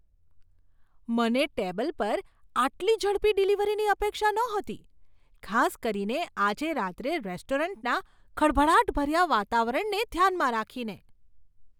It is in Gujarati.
મને ટેબલ પર આટલી ઝડપી ડિલિવરીની અપેક્ષા નહોતી, ખાસ કરીને આજે રાત્રે રેસ્ટોરન્ટના ખળભળાટભર્યા વાતાવરણને ધ્યાનમાં રાખીને.